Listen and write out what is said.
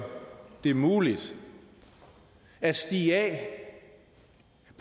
det muligt at stige af